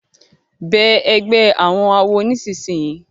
Bẹẹ ègbé àwọn àwo nísìsiyìí!